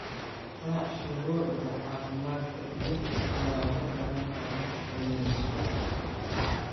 Raac shuruucda caafimaadka iyo nadaafadda markaad wax karineyso.